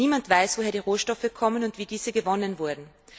Niemand weiß, woher die Rohstoffe kommen und wie diese gewonnen wurden.